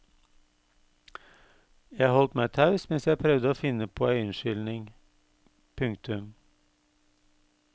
Jeg holdt meg taus mens jeg prøvde å finne på ei unnskyldning. punktum